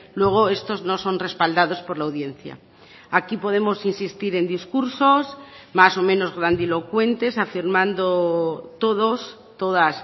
luego estos no son respaldados por la audiencia aquí podemos insistir en discursos más o menos grandilocuentes afirmando todos todas